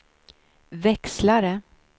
växlare